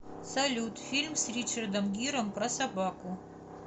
салют фильм с ричардом гиром про собаку